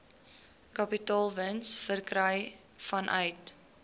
kapitaalwins verkry vanuit